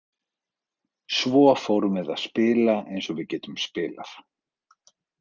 Svo fórum við að spila eins og við getum spilað.